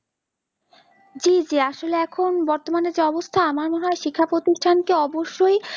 জি জি আসলে এখন বর্তমানে যা অবস্থা আমার মনে হয় শিক্ষা প্রতিষ্ঠান কে অবশ্যই